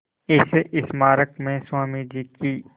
इस स्मारक में स्वामी जी की